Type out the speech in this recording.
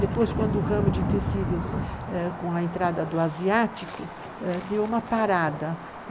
Depois, quando o ramo de tecidos, com a entrada do Asiático, deu uma parada.